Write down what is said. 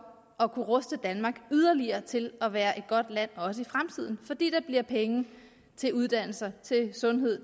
at kunne ruste danmark yderligere til at være et godt land fordi der bliver penge til uddannelser til sundhed